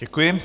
Děkuji.